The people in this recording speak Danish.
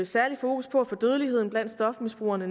særligt fokus på at få dødeligheden blandt stofmisbrugerne